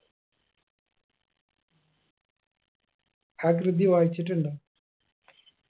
ആ കൃതി വായിച്ചിട്ടുണ്ടോ